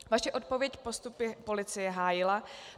Vaše odpověď postup policie hájila.